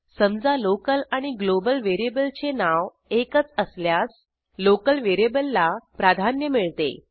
समजा लोकल आणि ग्लोबल व्हेरिएबलचे नाव एकच असल्यास लोकल व्हेरिएबलला प्राधान्य मिळते